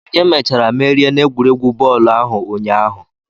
Onye mechara merie n'egwuregwu bọọlụ ahụ ụnyaahụ?